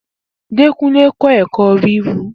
Dekunle kọ ẹkọ wiwu.